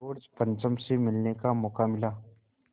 George पंचम से मिलने का मौक़ा मिला